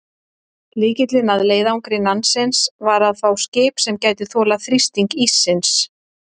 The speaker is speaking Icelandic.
Lykillinn að leiðangri Nansens var að fá skip sem gæti þolað þrýsting íssins.